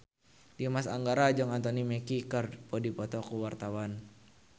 Dimas Anggara jeung Anthony Mackie keur dipoto ku wartawan